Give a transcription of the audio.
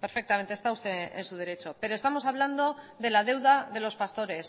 perfectamente está usted en su derecho pero estamos hablando de la deuda de los pastores